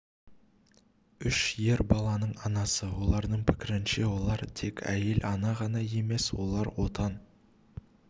үш ер баланың анасы олардың пікірінше олар тек әйел ана ғана емес олар отан